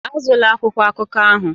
Azụla akwụkwọ akụkọ ahụ!